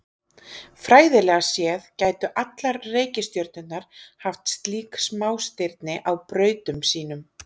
Fræðilega séð gætu allar reikistjörnurnar haft slík smástirni á brautum sínum.